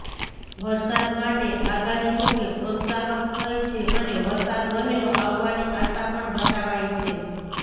વરસાદ માટે આગાહી જોકે પ્રોત્સાહક થઈ છે અને વરસાદ વહેલો આવવાની આશા પણ બતાવાઈ છે